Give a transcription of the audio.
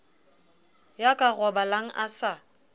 ya ka robalang a sa